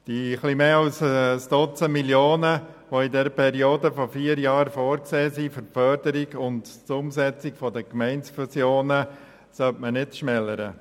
Die etwas mehr als ein Dutzend Millionen, die in der Periode von vier Jahren für die Förderung und Umsetzung von Gemeindefusionen vorgesehen sind, sollte man nicht schmälern.